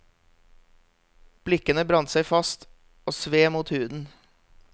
Blikkene brant seg fast og sved mot huden.